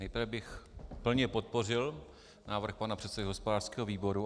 Nejprve bych plně podpořil návrh pana předsedy hospodářského výboru.